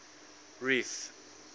reef